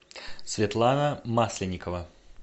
светлана масленникова